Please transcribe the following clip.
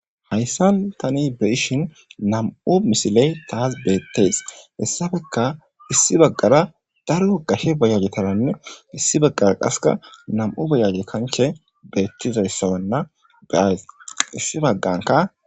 Hayssan tani be ishin nam'u misiley taas beettees hessafeka issi baggara daro gashe bayajetaranne issi baggara qaseka nam'u bayage kanche beettizayssawanna beays issi bagganka.